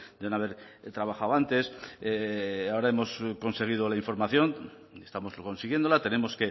de no haber trabajado antes ahora hemos conseguido la información estamos consiguiéndola tenemos